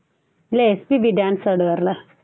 இல்ல SPB dance ஆடுவாருல்ல